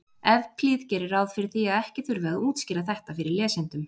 Evklíð gerir ráð fyrir því að ekki þurfi að útskýra þetta fyrir lesendum.